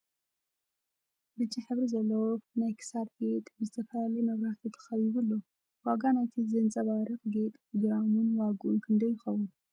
ብጫ ሕብሪ ዘለዎ ናይ ኽሳድ ጌጥ ብ ዝተፍላለየ መብራህቲ ተከቢቡ ኣሎ ። ዋጋ ናይቲ ዘንፀባሪቅ ጌጥ ግራሙን ዋግኡን ክንደይ ይከውን ?